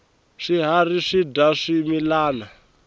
swiharhi swidya swimilana